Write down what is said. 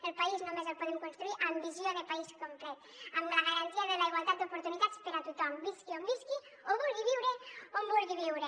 el país només el podem construir amb visió de país complet amb la garantia de la igualtat d’oportunitats per a tothom visqui on visqui o vulgui viure on vulgui viure